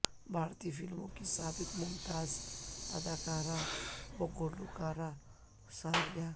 بھارتی فلموں کی سابق ممتاز اداکارہ و گلوکارہ ثریا